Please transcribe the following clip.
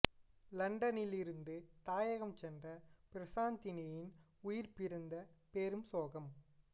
லண்டனில் இருந்து தாயகம் சென்ற பிரசாந்தினியின் உயிர் பிரிந்த பெரும் சோகம்